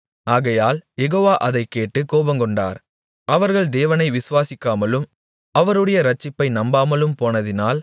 ஆகையால் யெகோவா அதைக் கேட்டுக் கோபங்கொண்டார் அவர்கள் தேவனை விசுவாசிக்காமலும் அவருடைய இரட்சிப்பை நம்பாமலும் போனதினால்